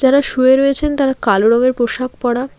যারা শুয়ে রয়েছেন তারা কালো রঙের পোশাক পরা।